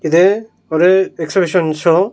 இது ஒரு exhibition show .